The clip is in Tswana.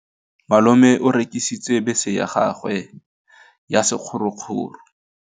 Malome o rekisitse bese ya gagwe ya sekgorokgoro.